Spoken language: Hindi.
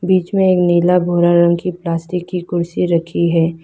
बीच में एक नीला भूरा रंग की प्लास्टिक की कुर्सी रखी है।